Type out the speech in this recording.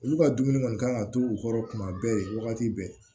Olu ka dumuni kɔni kan ka t'u kɔrɔ kuma bɛɛ wagati bɛɛ